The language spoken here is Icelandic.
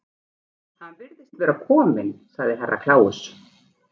Hann virðist vera kominn, sagði Herra Kláus.